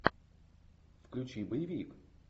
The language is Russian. включи боевик